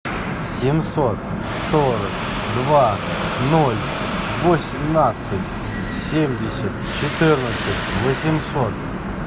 семьсот сорок два ноль восемнадцать семьдесят четырнадцать восемьсот